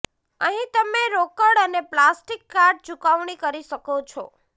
અહીં તમે રોકડ અને પ્લાસ્ટિક કાર્ડ ચૂકવણી કરી શકો છો